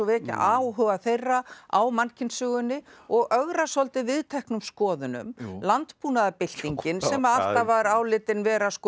vekja áhuga þeirra á mannkynssögunni og ögra svolítið viðteknum skoðunum landbúnaðarbyltingin sem alltaf var álitin vera